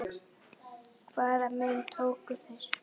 Hvaða myndir tóku þeir?